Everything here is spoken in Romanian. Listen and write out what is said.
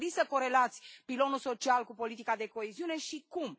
V ați gândit să corelați pilonul social cu politica de coeziune și cum?